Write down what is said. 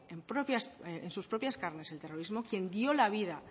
en sus propias carnes el terrorismo quien dio la vida